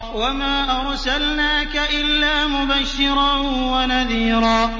وَمَا أَرْسَلْنَاكَ إِلَّا مُبَشِّرًا وَنَذِيرًا